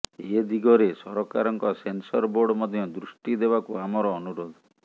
ଏ ଦିଗରେ ସରକାରଙ୍କ censor board ମଧ୍ୟ ଦୃଷ୍ଟି ଦେବାକୁ ଆମର ଅନୁରୋଧ